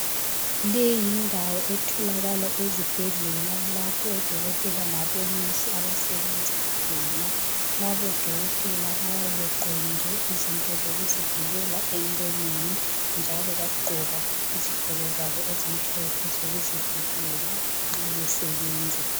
Le yindawo etholakala ezibhedlela. Lapho odokotela labonesi abasebenza khona. Labodokotela bayabe begqokile izinto zokuzivikela emlonyeni, njalo bagqoka izigqoko zabo ezimhlophe zokuzivikela, nxa basebenza.